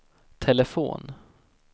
telefon